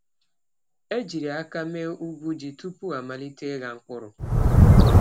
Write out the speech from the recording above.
E jiri aka mee ugwu ji tupu amalite ịgha mkpụrụ.